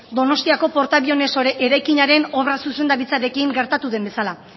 donostiako portaaviones eraikinaren obra zuzendaritzarekin gertatu den bezala